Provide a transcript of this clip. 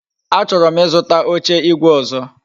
A choro m Ị zụta oche igwe ọzọ